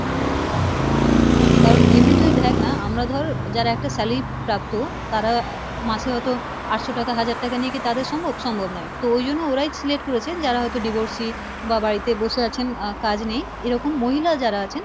কারণ এমনি তুই দেখ না আমরা ধর যারা একটা salary প্রাপ্ত তারা মাসে হয়তো আঠশো টাকা হাজার টাকা নিয়ে কী তাদের সম্ভব? সম্ভব নয়, তো ওই জন্য ওরাই select করেছেন যারা হয়তো divorcee বা বাড়িতে বসে আছেন আহ কাজ নেই এরকম মহিলা যারা আছেন,